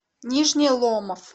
нижний ломов